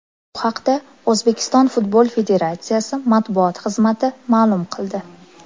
Bu haqda O‘zbekiston futbol federatsiyasi matbuot xizmati ma’lum qildi .